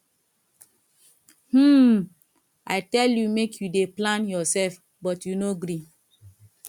um i tell you make you dey plan yourself but you no gree